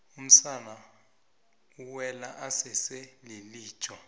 umsana ewele esese lilija